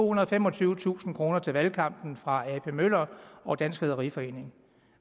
og femogtyvetusind kroner til valgkampen fra ap møller og dansk rederiforening